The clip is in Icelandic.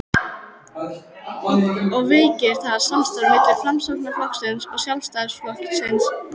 og veikir það samstarfið milli Framsóknarflokksins og Sjálfstæðisflokksins?